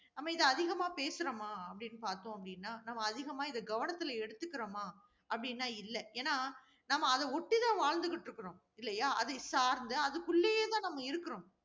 நம்ம இத அதிகமா பேசறோமா அப்படின்னு பார்த்தோம் அப்படின்னா, நம்ம அதிகமா இத கவனத்துல எடுத்திருக்கிறோமா அப்படினா இல்ல ஏன்னா நாம அதை ஒட்டிதான் வாழ்ந்துகிட்டு இருக்கிறோம். இல்லையா அதை சார்ந்து அதுக்கு உள்ளேயேதான் நம்ம இருக்கிறோம்.